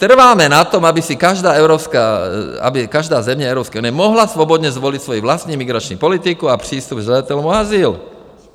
Trváme na tom, aby si každá země Evropské unie mohla svobodně zvolit svoji vlastní migrační politiku a přístup k žadatelům o azyl.